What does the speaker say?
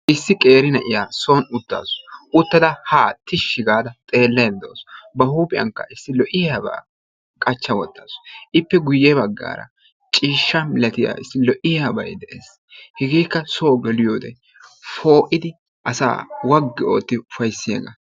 issi qeeri na'iyaa soon uttaasu. uuttada haa tishshi gaada haa xeellaydda de'awus. ba huuphiyaankka issi lo"iyaabaa qachcha woottasu. ippe guyye baggaara ciishsha milatiyaa issi lo"iyaabay de"ees. hegeekka soo geliyoode poo"iidi asaa waggi ootti ufayssiyaagaa.